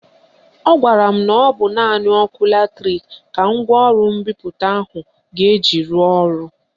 Ọ gwara m na ọ bụ naanị ọkụ latrik ka ngwaọrụ mbipụta ahụ ga-eji rụọ ọrụ